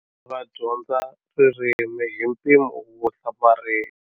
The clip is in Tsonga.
Va dyondza ririmi hi mpimo wo hlamarisa.